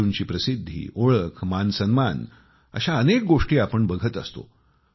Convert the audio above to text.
खेळाडूंची प्रसिद्धी ओळख मानसन्मान अशा अनेक गोष्टी आपण बघत असतो